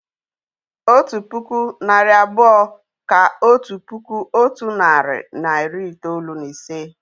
Otu puku, narị abụọ kà otu puku otu nari na iri itoolu na ise